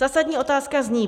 Zásadní otázka zní.